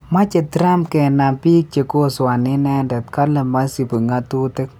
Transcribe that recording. Meche Trump kenam biik che kosoani inende kale maisubi ng'atutik